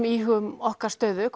íhugum okkar stöðu